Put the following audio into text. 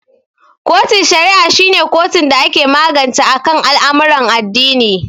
kotun shari'a shi ne kotun dake magance akan al'amarin addini.